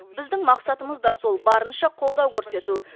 біздің мақсатымыз да сол барынша қолдау көрсету